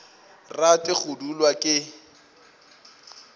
rate go dulwa ke nt